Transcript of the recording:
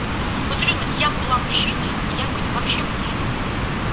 вот серьёзно я была бы мужчиной я бы вообще бы не женилась